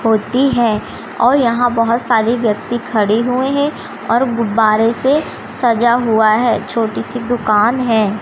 होती है और यहां बहुत सारे व्यक्ति खड़े हुए हैं और गुब्बारे से सजा हुआ है छोटी सी दुकान है।